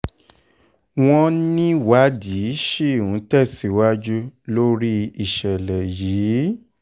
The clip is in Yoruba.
wọ́n níwádìí ṣì ń tẹ̀síwájú lórí ìṣẹ̀lẹ̀ yìí